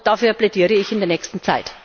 Dafür plädiere ich in der nächsten Zeit.